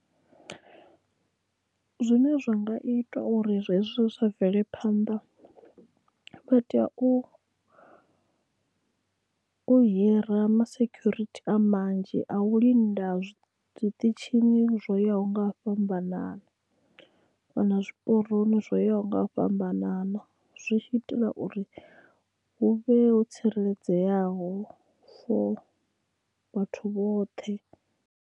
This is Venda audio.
Zwine zwa nga itwa uri zwezwo zwa sa bvelephanḓa vha tea u u hira ma security a manzhi a u linda zwiṱitshini zwo yaho nga u fhambanana na zwiporoni zwo yaho nga u fhambanana zwi tshi itela uri hu vhe ho tsireledzeaho fo vhathu vhoṱhe.